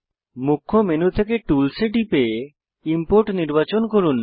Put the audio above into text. মুখ্য মেনু থেকে টুলস এ টিপে ইমপোর্ট নির্বাচন করুন